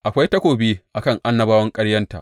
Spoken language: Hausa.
Akwai takobi a kan annabawan ƙaryanta!